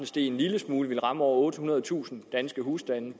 steg en lille smule ville ramme over ottehundredetusind danske husstande i